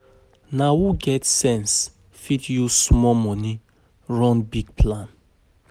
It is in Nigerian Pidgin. Na who um get sense fit use small money run big plan.